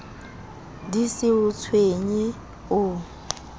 di se o tshwenye o